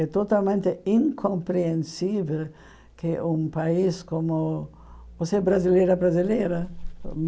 É totalmente incompreensível que um país como... Você é brasileira brasileira?